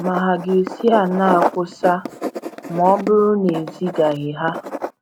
ma hà ga - esi aṅaa kwusaa, ma ọ bụrụ na ezigaghị ha?